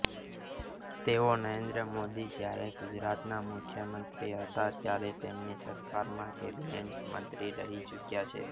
તેઓ નરેન્દ્ર મોદી જ્યારે ગુજરાતના મુખ્યમંત્રી હતા ત્યારે તેમની સરકારમાં કેબિનેટ મંત્રી રહી ચૂક્યા છે